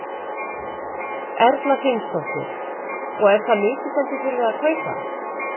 Erla Hlynsdóttir: Og er það mikið sem þið þurfið að kaupa?